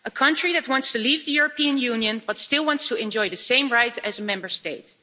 A country that wants to leave the European Union, but still wants to enjoy the same rights as a Member State.